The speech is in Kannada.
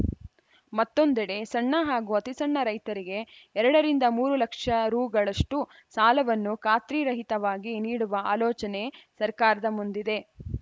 ಮತ್ತೊಂದೆಡೆ ಸಣ್ಣ ಹಾಗೂ ಅತಿಸಣ್ಣ ರೈತರಿಗೆ ಎರಡರಿಂದ ಮೂರು ಲಕ್ಷ ರುಗಳಷ್ಟುಸಾಲವನ್ನು ಖಾತ್ರಿರಹಿತವಾಗಿ ನೀಡುವ ಆಲೋಚನೆ ಸರ್ಕಾರದ ಮುಂದಿದೆ